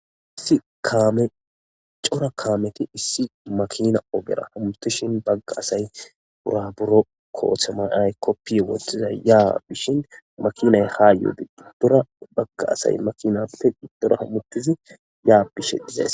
Issi kaame cora kaameti issi makiina ogera hamuttishin bagga asay buraburo koppiya wothizay yaa bishin makinay ha yiidi giddora bagga asay makinappe giddora hamuttizi ya bishe dizayssa.